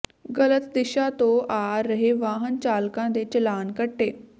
ਗਲਤ ਦਿਸ਼ਾ ਤੋਂ ਆ ਰਹੇ ਵਾਹਨ ਚਾਲਕਾਂ ਦੇ ਚਲਾਣ ਕੱਟੇ